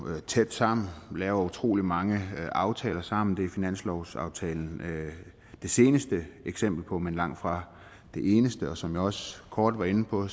tæt sammen laver utrolig mange aftaler sammen det er finanslovsaftalen det seneste eksempel på men langtfra det eneste og som jeg også kort var inde på